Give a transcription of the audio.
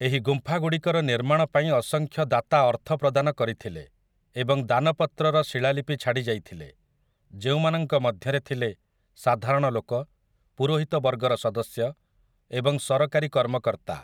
ଏହି ଗୁମ୍ଫାଗୁଡ଼ିକର ନିର୍ମାଣ ପାଇଁ ଅସଂଖ୍ୟ ଦାତା ଅର୍ଥ ପ୍ରଦାନ କରିଥିଲେ ଏବଂ ଦାନପତ୍ରର ଶିଳାଲିପି ଛାଡ଼ି ଯାଇଥିଲେ, ଯେଉଁମାନଙ୍କ ମଧ୍ୟରେ ଥିଲେ ସାଧାରଣଲୋକ, ପୁରୋହିତ ବର୍ଗର ସଦସ୍ୟ ଏବଂ ସରକାରୀ କର୍ମକର୍ତ୍ତା ।